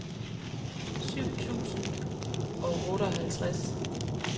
syv tusind og otteoghalvtreds